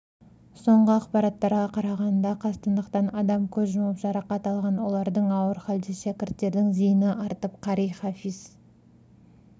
соңғы ақпараттарға қарағанда қастандықтан адам көз жұмып жарақат алған олардың ауыр халде шәкірттердің зейіні артып қари-хафиз